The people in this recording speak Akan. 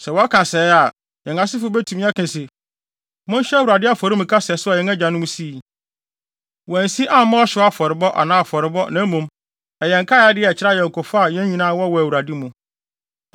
“Sɛ wɔka sɛɛ a, yɛn asefo betumi aka se, ‘Monhwɛ Awurade afɔremuka sɛso a yɛn agyanom sii. Wɔansi amma ɔhyew afɔrebɔ anaa afɔrebɔ, na mmom, ɛyɛ nkae ade a ɛkyerɛ ayɔnkofa a yɛn nyinaa wɔ wɔ Awurade mu.’